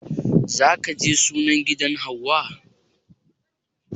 Za ka je sunan gidan hauwa?